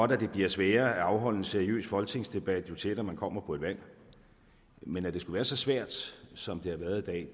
det bliver sværere at afholde en seriøs folketingsdebat jo tættere man kommer på et valg men at det skulle være så svært som det har været